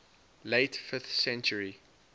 late fifth century